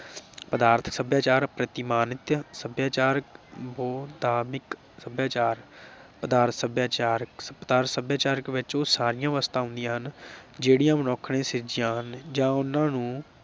ਪਦਾਰਥ ਸਭਿਆਚਾਰ, ਪ੍ਰਤੀਮਾਨਕ ਸਭਿਆਚਾਰ, ਬਹੁਤਾਦਿਕ ਸਭਿਆਚਾਰ । ਪਦਾਰਥ ਸਭਿਆਚਾਰ ਪਦਾਰਥ ਸਭਿਆਚਾਰਿਕ ਵਿਚ ਉਹ ਸਾਰੀਆਂ ਵਸਤੂਆਂ ਆਉਂਦੀਆਂ ਹਨ ਜਿਹੜੀਆਂ ਮਨੁੱਖ ਨੇ ਸਿਰਜੀਆਂ ਹਨ ਜਾਂ ਉਨ੍ਹਾਂ ਨੂੰ